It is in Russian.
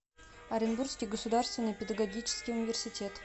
оренбургский государственный педагогический университет